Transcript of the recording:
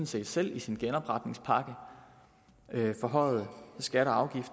set selv i sin genopretningspakke forhøjede skatter